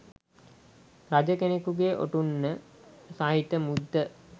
රජ කෙනකුගේ ඔටුන්න සහිත මුද්ද